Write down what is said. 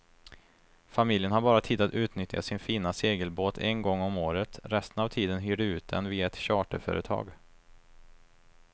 Familjen har bara tid att utnyttja sin fina segelbåt en gång om året, resten av tiden hyr de ut den via ett charterföretag.